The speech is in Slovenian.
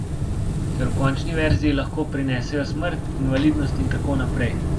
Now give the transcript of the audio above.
Ker v končni verziji lahko prinesejo smrt, invalidnost in tako naprej.